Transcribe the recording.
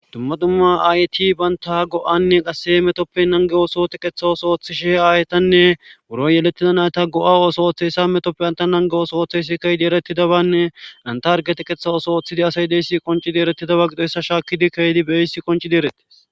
Dumma dumma ayti baynta go'anne qasse metoppe nange oosoote qeththa oso ooththishe aaytanne buro yelettida nayta go'a oso oththesa metoppe anta nange oso oththeysi keydi erettidabanne antargete qeththa oso ooththidi asay deyssi qoncidi erettidaba gido esa shaakkidi keydi beyis qoncidi erette.